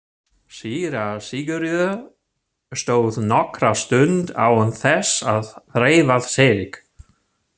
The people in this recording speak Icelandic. Síra Sigurður stóð nokkra stund án þess að hreyfa sig.